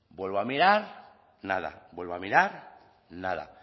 vuelvo a mirar nada vuelve a mirar nada